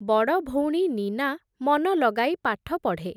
ବଡ଼ଭଉଣୀ, ନୀନା ମନ ଲଗାଇ ପାଠ ପଢ଼େ ।